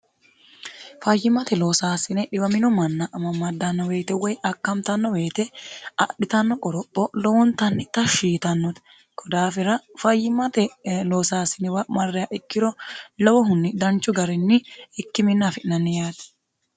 fayyimate loosaasine dhiwamino manna amammaddanno weyete woy akkamtanno weyete adhitanno qoropho lowontanni ta hshiitannote kodaafira fayyimate loosaasinewa marreya ikkiro lowohunni danchu garinni ikki minni afi'nanni yaati